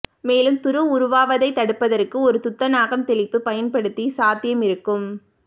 மேலும் துரு உருவாவதை தடுப்பதற்கு ஒரு துத்தநாகம் தெளிப்பு பயன்படுத்தி சாத்தியம் இருக்கும்